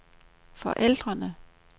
forældrene